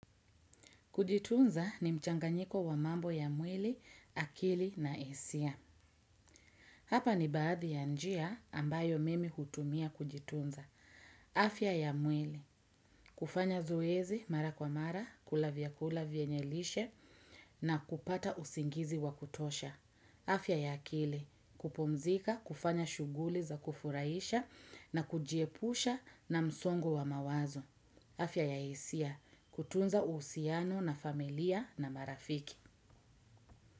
Kujitunza ni mchanganyiko wa mambo ya mwili, akili na isia. Hapa ni baadhi ya njia ambayo mimi hutumia kujitunza. Afia ya mwili, kufanya zoezi mara kwa mara, kula vyakula vyenye lishe na kupata usingizi wa kutosha. Afya ya akili, kupumzika, kufanya shuguli za kufuraisha na kujiepusha na msongo wa mawazo. Afya ya hisia kutunza usiano na familia na marafiki.